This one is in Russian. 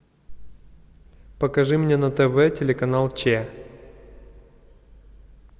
покажи мне на тв телеканал че